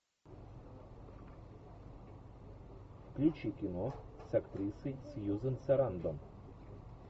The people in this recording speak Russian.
включи кино с актрисой сьюзен сарандон